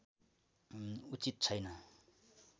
उचित छैन